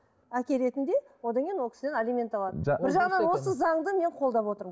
әке ретінде одан кейін ол кісіден алимент алады бір жағынан осы заңды мен қолдап отырмын